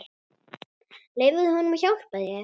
Leyfðu honum að hjálpa þér.